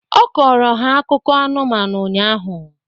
Ọ kọọrọ ha akụkọ anụmanụ ụnyahụ